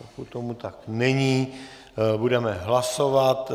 Pokud tomu tak není, budeme hlasovat.